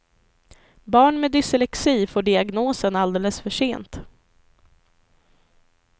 Barn med dyslexi får diagnosen alldeles för sent.